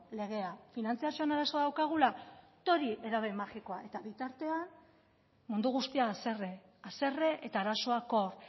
legea finantzazioan arazoa daukagula tori edabe magikoa eta bitartean mundu guztia haserre haserre eta arazoak hor